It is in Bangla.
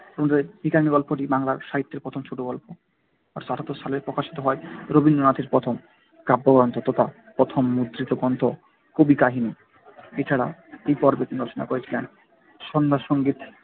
ভিখারিণী গল্পটি সাহিত্যের প্রথম ছোটগল্প। আঠারোশো আটাত্তর সালে প্রকাশিত হয় রবীন্দ্রনাথের প্রথম কাব্যগ্রন্থ তথা প্রথম মুদ্রিত গ্রন্থ কবিকাহিনী। এছাড়া এই পর্বে তিনি রচনা করেছিলেন সন্ধ্যাসংগীত